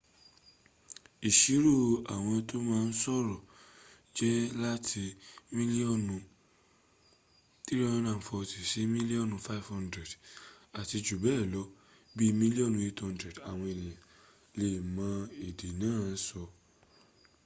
ìṣirò àwọn tó ma sọ̀rọ̀ jẹ́ láti mílíọ́nù 340 sí mílíọ́nù 500 àti jù bẹ́ẹ̀ lọ bí mílíọ́nù 800 àwọn ènìyàn lè mọ èdè náà sọ